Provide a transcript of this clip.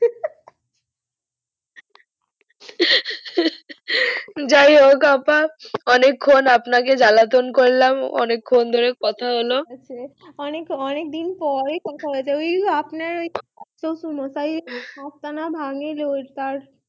যাইহোক আপা অনেক খান আপনাকে জ্বালাতন করলাম অনেক্ষন ধরে কথা হলো অনেক অনেক দিন পরেই কথা হৈছে আমি কিন্তু আপনার ওই শশুর মশাই হাতটা না ভাঙিল